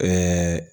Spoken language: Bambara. Ɛɛ